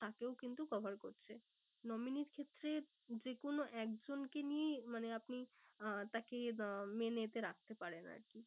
তাকেও কিন্তু cover করছে। nominee র ক্ষেত্রে যে কোনো এক জনকে নিয়েই মানে আপনি আহ তাকে আহ main এ তে রাখতে পারেন আর কি।